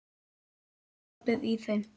Sjáðu skapið í þeim.